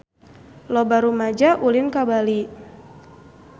Loba rumaja ulin ka Bali